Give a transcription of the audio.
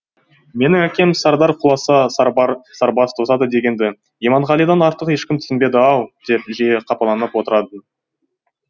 менің әкем сардар құласа сарбаз тозады дегенді иманғалидан артық ешкім түсінбеді ау деп жиі қапаланып отыратын